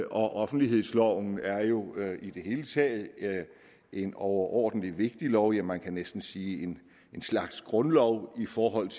offentlighedsloven er jo i det hele taget en overordentlig vigtig lov ja man kan næsten sige en slags grundlov i forhold